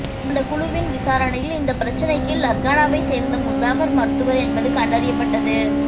அந்தக் குழுவின் விசாரணையில் இந்தப் பிரச்னைக்கு லர்கானாவைச் சேர்ந்த முசாஃபர் மருத்துவர் என்பது கண்டறியப்பட்டது